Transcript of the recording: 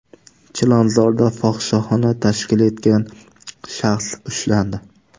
Chilonzorda fohishaxona tashkil etgan shaxs ushlandi.